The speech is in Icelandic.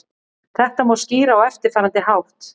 Þetta má skýra á eftirfarandi hátt.